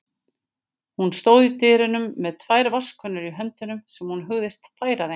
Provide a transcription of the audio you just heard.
Hún stóð í dyrunum með tvær vatnskönnur í höndunum sem hún hugðist færa þeim.